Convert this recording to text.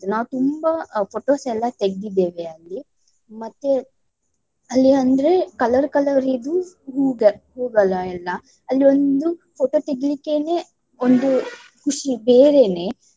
ನಾವು ತುಂಬಾ photos ಎಲ್ಲ ತೆಗ್ದಿದ್ದೇವೆ ಅಲ್ಲಿ. ಮತ್ತೆ ಅಲ್ಲಿ ಅಂದ್ರೆ color color ದ್ದು ಹೂವುಗಳ್~ ಹೂವುಗಳು ಎಲ್ಲ. ಅಲ್ಲಿ ಒಂದು photo ತೆಗೆಲಿಕ್ಕೆನೇ ಒಂದು ಖುಷಿ ಬೇರೇನೆ.